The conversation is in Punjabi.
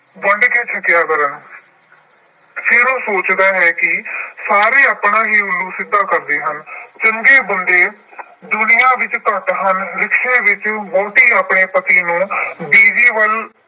ਵੰਡ ਕੇ ਛੱਕਿਆ ਕਰਨ। ਫਿਰ ਉਹ ਸੋਚਦਾ ਹੈ ਕਿ ਸਾਰੇ ਆਪਣਾ ਹੀ ਉਲੂ ਸਿੱਧਾ ਕਰਦੇ ਹਨ। ਚੰਗੇ ਬੰਦੇ ਦੁਨੀਆਂ ਵਿੱਚ ਘੱਟ ਹਨ। rickshaw ਵਿੱਚ ਵਹੁਟੀ ਆਪਣੇ ਪਤੀ ਨੂੰ ਬਿਜੀ ਵੱਲ